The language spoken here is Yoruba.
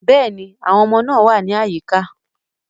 Yes, the children are around